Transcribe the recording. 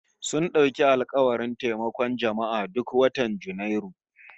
Sun dauki alkawarin taimakon jama'a duk watan Janairu